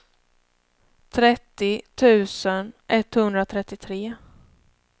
trettio tusen etthundratrettiotre